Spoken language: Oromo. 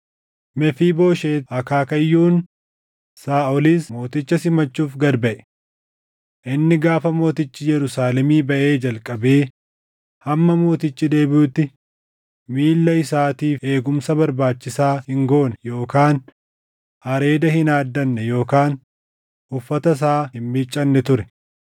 Mefiibooshet akaakayyuun Saaʼolis mooticha simachuuf gad buʼe. Inni gaafa mootichi Yerusaalemii baʼee jalqabee hamma mootichi deebiʼutti miilla isaatiif eegumsa barbaachisaa hin goone yookaan areeda hin haaddanne yookaan uffata isaa hin miiccanne ture.